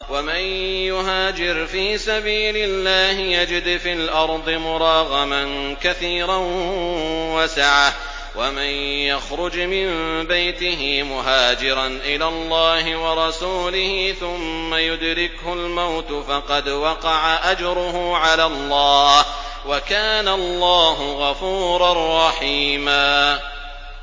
۞ وَمَن يُهَاجِرْ فِي سَبِيلِ اللَّهِ يَجِدْ فِي الْأَرْضِ مُرَاغَمًا كَثِيرًا وَسَعَةً ۚ وَمَن يَخْرُجْ مِن بَيْتِهِ مُهَاجِرًا إِلَى اللَّهِ وَرَسُولِهِ ثُمَّ يُدْرِكْهُ الْمَوْتُ فَقَدْ وَقَعَ أَجْرُهُ عَلَى اللَّهِ ۗ وَكَانَ اللَّهُ غَفُورًا رَّحِيمًا